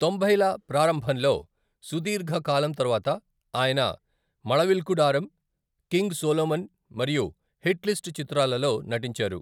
తొంభైల ప్రారంభంలో సుదీర్ఘ కాలం తర్వాత ఆయన, మళవిల్కూడారం, కింగ్ సోలోమన్ మరియు హిట్లిస్ట్ చిత్రాలలో నటించారు.